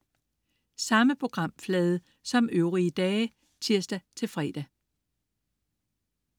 Samme programflade som øvrige dage (tirs-fre)